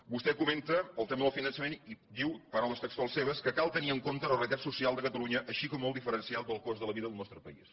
vostè comenta el tema del finançament i diu paraules textuals seves que cal tenir en compte la realitat social de ca talunya així com el diferencial del cost de la vida del nostre país